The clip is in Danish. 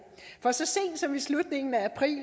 for så sent som i slutningen af april